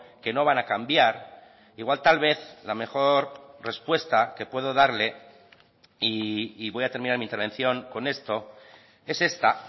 que no van a cambiar igual tal vez la mejor respuesta que puedo darle y voy a terminar mi intervención con esto es esta